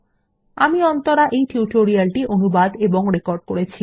আমি অন্তরা এই টিউটোরিয়াল টি অনুবাদ এবং রেকর্ড করেছি